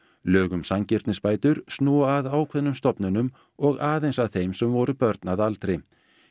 lög um sanngirnisbætur snúa að ákveðnum stofnunum og aðeins að þeim sem voru börn að aldri